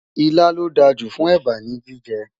ìlà ló dá jù fún èbá ní jíjẹ